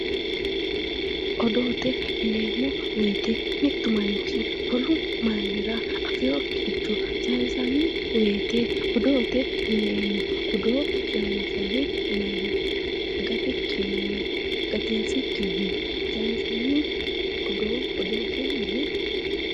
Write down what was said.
odoote yineemmo wooyte mittu manchi wolu manchira afewokkire sayisanno woyte odoote yineemmo. odoo gatinsikkinni woy xeinsikkinni saynsanni woyite odoote yineemmo.